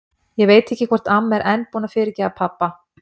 Ég veit ekki hvort amma er enn búin að fyrirgefa pabba.